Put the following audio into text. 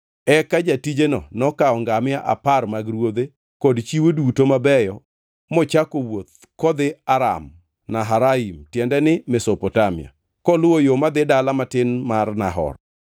Eka jatijeno nokawo ngamia apar mag ruodhe, kod chiwo duto mabeyo mochako wuoth kodhi Aram-Naharaim (tiende ni, Mesopotamia) koluwo yo madhi dala matin mar Nahor.